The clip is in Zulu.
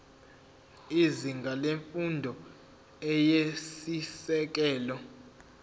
izinga lemfundo eyisisekelo